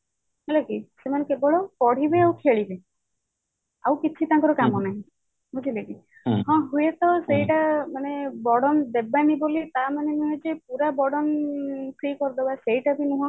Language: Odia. ହେଲା କି ସେମାନେ କେବେଳ ପଢିବେ ଆଉ ଖେଳିବେ ଆଉ କିଛି ତାଙ୍କର କାମ ନାହିଁ ବୁଝିଲେ କି ହଁ ହୁଏତ ସେଇଟା ମାନେ burden ଦେବେନି ବୋଲି ତା ମାନେ ନୁହେଁ ଯେ ପୁରା burden free କରିଦାବା ସେଇଟା ବି ନୁହଁ